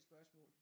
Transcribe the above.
Spørgsmål